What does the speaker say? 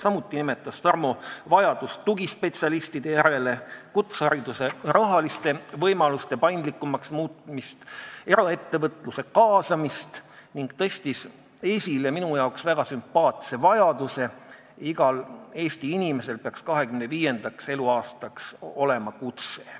Samuti nimetas Tarmo vajadust tugispetsialistide järele, kutsehariduse rahaliste võimaluste paindlikumaks muutmise ja eraettevõtluse kaasamise vajadust ning tõstis esile minu arvates väga sümpaatse põhimõtte, et igal Eesti inimesel peaks 25. eluaastaks olema kutse.